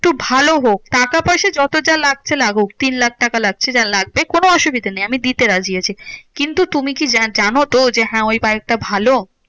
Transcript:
একটু ভালো হোক। টাকা পয়সা যত যা লাগছে লাগুক তিন লাখ টাকা লাগছে যা লাগবে কোনো অসুবিধা নেই আমি দিতে রাজি আছি। কিন্তু তুমি কি জা জানো তো যে হ্যাঁ ওই বাইকটা ভালো?